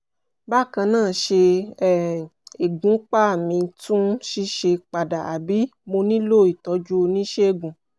bákan náà ṣé um ìgbúnpá mi tún ń ṣiṣẹ́ padà àbí mo nílò ìtọ́jú oníṣègùn?